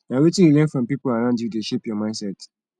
na wetin you learn from people around you dey shape your mindset